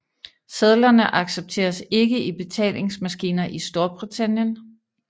Sedlerne accepteres ikke i betalingsmaskiner i Storbritannien